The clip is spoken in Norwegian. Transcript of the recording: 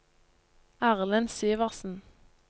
Erlend Syversen